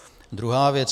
Druhá věc.